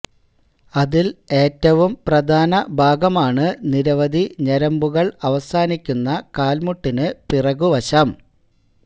അതിൽ ഏറ്റവും പ്രാധാന ഭാഗമാണ് നിരവധി ഞരമ്പുകൾ അവസാനിക്കുന്ന കാൽമുട്ടിന് പുറകു വശം